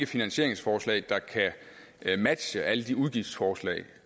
finansieringsforslag der kan matche alle de udgiftsforslag